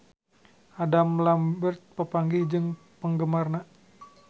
Adam Lambert papanggih jeung penggemarna